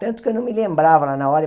Tanto que eu não me lembrava lá na hora.